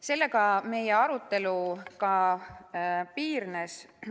Sellega meie arutelu piirdus.